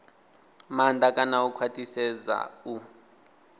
maanḓa kana u khwaṱhisedza u